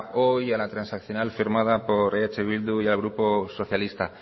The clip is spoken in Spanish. hoy en la transaccional firmada por eh bildu y el grupo socialista